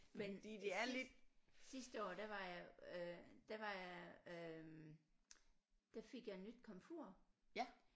Men sidst sidste år der var jeg øh der var jeg øh der fik jeg nyt komfur